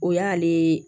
O y'ale